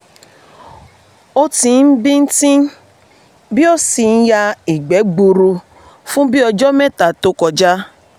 o ti ń bì ti ń bì ó sì ń ya ìgbẹ́ gbuuru fún bíi um ọjọ mẹ́ta to um kọja